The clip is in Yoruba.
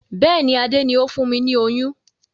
Bẹ́ẹ̀ni, Adé ni o fún mi ní oyún.